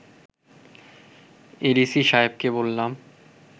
ADC সাহেবকে বললাম